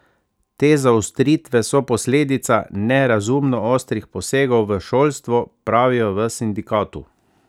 Te zaostritve so posledica nerazumno ostrih posegov v šolstvo, pravijo v sindikatu.